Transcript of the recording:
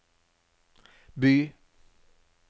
by